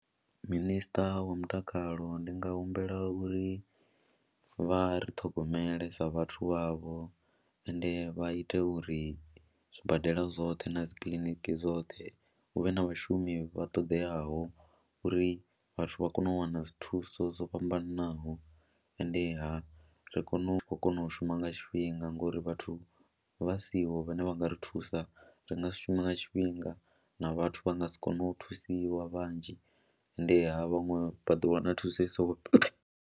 Minister wa mutakalo ndi nga humbela uri vha ri ṱhogomele sa vhathu vhavho ende vha ite uri zwibadela zwoṱhe na dzi kiḽiniki dzoṱhe hu vhe na vhashumi vha ṱoḓeaho uri vhathu vha kone u wana dzi thuso dzo fhambananaho endeha ri kone u khou kona u shuma nga tshifhinga ngori vhathu vha siho vhane vha nga ri thusa ri nga si shume nga tshifhinga na vhathu vha nga si kone u thusiwa vhanzhi, endeha vhaṅwe vha ḓo wana thuso i sokou pfhi.